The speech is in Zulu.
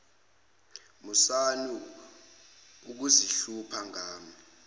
musani ukuzihlupha ngami